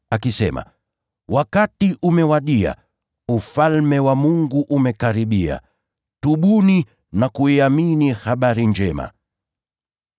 akisema, “Wakati umewadia, Ufalme wa Mungu umekaribia. Tubuni na kuiamini Habari Njema.”